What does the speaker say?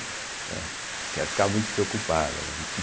Né, porque ela ficava muito preocupada, né